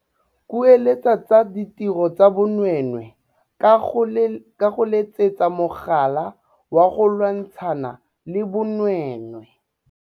Kueletsa tsa ditiro tsa bonweenwee ka go letsetsa mogala wa go lwantshana le bonweenwee.